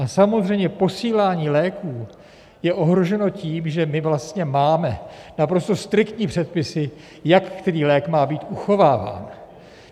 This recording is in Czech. A samozřejmě posílání léků je ohroženo tím, že my vlastně máme naprosto striktní předpisy, jak který lék má být uchováván.